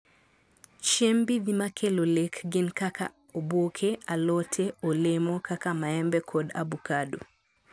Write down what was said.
chiemb mbidhi ma kelo lek gin kaka oboke, alote, olemo kaka maembe kod abukado